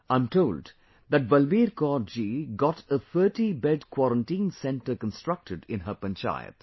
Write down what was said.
I am told that Balbir Kaur ji got a 30 bed Quarantine Centre constructed in her Panchayat